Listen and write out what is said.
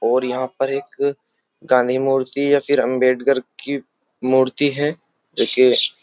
और यहाँ पर एक गांधी मूर्ति या फिर अंबेडकर की मूर्ति है जो कि --